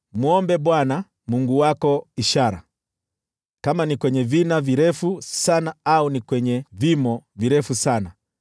“Mwombe Bwana Mungu wako ishara, iwe kwenye vina virefu sana, au kwenye vimo virefu sana.”